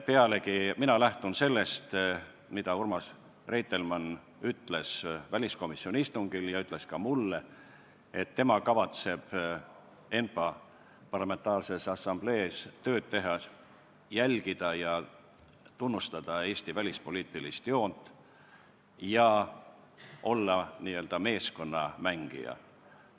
Pealegi, mina lähtun sellest, mida Urmas Reitelmann ütles väliskomisjoni istungil ja ütles ka mulle, et tema kavatseb ENPA-s tööd tehes järgida ja tunnustada Eesti välispoliitilist joont ning olla n-ö meeskonnamängija.